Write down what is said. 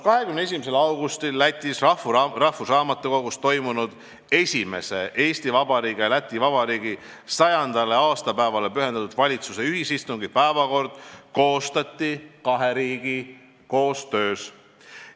" 21. augustil Lätis rahvusraamatukogus toimunud Eesti Vabariigi ja Läti Vabariigi 100. aastapäevale pühendatud valitsuste esimese ühisistungi päevakord koostati kahe riigi koostöös.